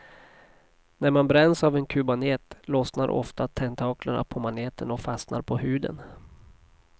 När man bränns av en kubmanet lossnar ofta tentaklerna på maneten och fastnar på huden.